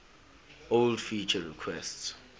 old feature requests